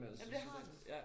Men det har den